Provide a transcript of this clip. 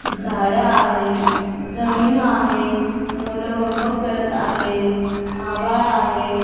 झाडं आहे जमीन आहे मुलं होमवर्क करत आहे आभाळ आहे.